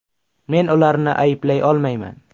Men ularni ayblay olmayman.